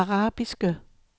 arabiske